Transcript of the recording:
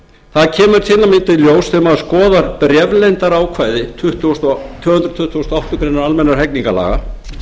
d í ljós þegar maður skoðar bréfleyndarákvæði tvö hundruð tuttugustu og áttundu grein almennra hegningarlaga